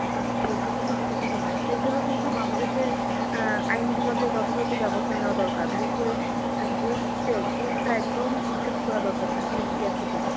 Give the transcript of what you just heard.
যে এতে খুবই হতাশাজনক. এর জন্য কিন্তু বাংলাদেশের অ্যাঁ আইন বিভাগে যথাযথ ব্যবস্থা নেওয়া দরকার. বিশেষ করে ঘুষ যে ঘুষটা একদম উচ্ছেদ করা দরকার. চাকরির ইয়ে থেকে.